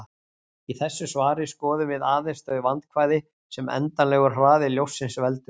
Í þessu svari skoðum við aðeins þau vandkvæði sem endanlegur hraði ljóssins veldur.